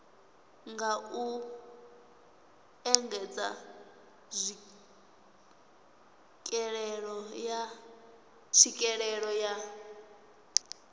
nga u engedza tswikelelo ya